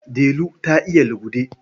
Delu ta iya lugude.